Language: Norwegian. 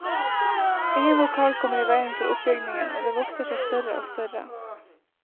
Ingen vokal kommer i veien for oppbygningen, og det vokser seg større og større.